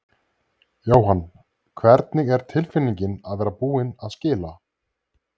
Jóhann: Hvernig er tilfinningin að vera búinn að skila?